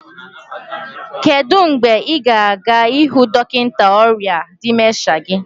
kedu mgbe ị ga-aga hụ dọkịta ọrịa dịmensha gị?